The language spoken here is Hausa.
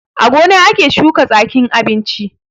A gona ake shuka tsakin abinchi